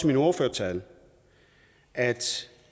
min ordførertale at